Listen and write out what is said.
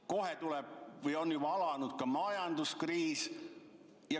Kohe tuleb või on juba alanud majanduskriis.